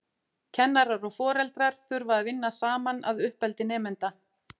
Kennarar og foreldrar þurfa að vinna saman að uppeldi nemenda.